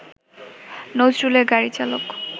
নজরুলের গাড়িচালক